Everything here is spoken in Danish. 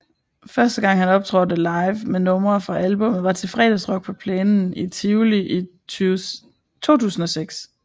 Første gang han optrådte live med numre fra albummet var til Fredagsrock på plænen i Tivoli i 2006